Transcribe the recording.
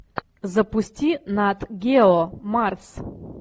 запусти нат гео марс